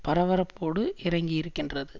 பரபரப்போடு இறங்கியிருக்கின்றது